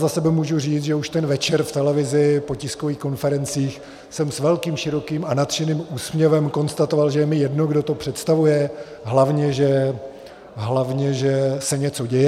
Za sebe můžu říct, že už ten večer v televizi po tiskových konferencích jsem s velkým, širokým a nadšeným úsměvem konstatoval, že je mi jedno, kdo to představuje, hlavně že se něco děje.